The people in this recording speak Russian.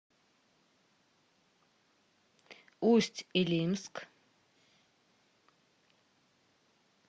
усть илимск